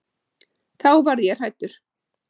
Þá varð ég hræddur.